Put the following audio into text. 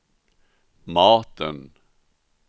maten